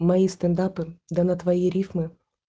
мои стендапы да на твои рифмы